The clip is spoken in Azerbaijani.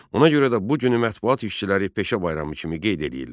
Ona görə də bu günü mətbuat işçiləri peşə bayramı kimi qeyd eləyirlər.